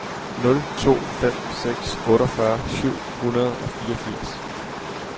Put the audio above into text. nul to fem seks otteogfyrre syv hundrede og fireogfirs